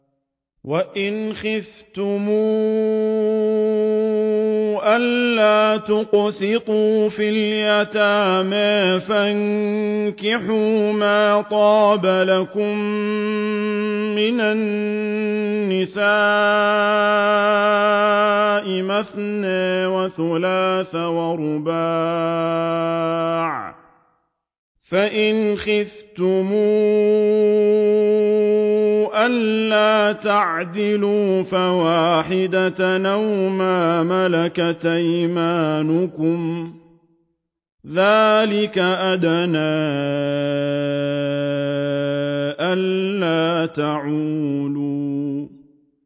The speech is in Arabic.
وَإِنْ خِفْتُمْ أَلَّا تُقْسِطُوا فِي الْيَتَامَىٰ فَانكِحُوا مَا طَابَ لَكُم مِّنَ النِّسَاءِ مَثْنَىٰ وَثُلَاثَ وَرُبَاعَ ۖ فَإِنْ خِفْتُمْ أَلَّا تَعْدِلُوا فَوَاحِدَةً أَوْ مَا مَلَكَتْ أَيْمَانُكُمْ ۚ ذَٰلِكَ أَدْنَىٰ أَلَّا تَعُولُوا